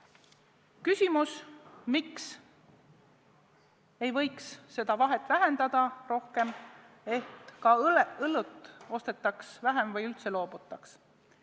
Oli küsimus, miks ei võiks seda vahet vähendada rohkem, et ka õlut ostetaks Lätist vähem või sellest üldse loobutaks.